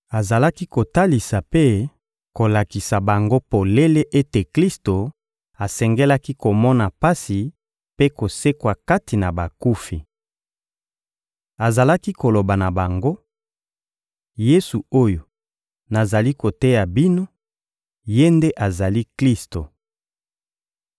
Azalaki kotalisa mpe kolakisa bango polele ete Klisto asengelaki komona pasi mpe kosekwa kati na bakufi. Azalaki koloba na bango: — Yesu oyo nazali koteya bino, Ye nde azali Klisto.